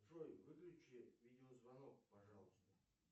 джой выключи видеозвонок пожалуйста